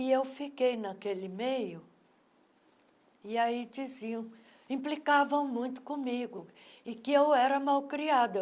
E eu fiquei naquele meio, e aí diziam, implicavam muito comigo, e que eu era mal criada.